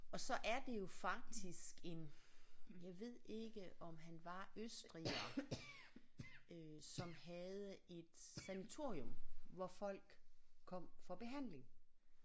Og så er det jo faktisk en jeg ved ikke om han var østriger øh som havde et sanatorium hvor folk kom for behandling